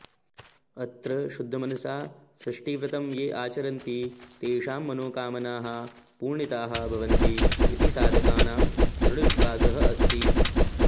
अत्र शुद्धमनसा षष्ठिव्रतं ये आचारन्ति तेषां मनोकामनाः पूर्णिताः भवन्ति इति साधकानां दृढविश्वासः अस्ति